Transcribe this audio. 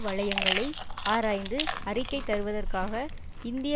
வலையங்களை ஆராய்ந்து அறிக்கை தருவதற்காக இந்திய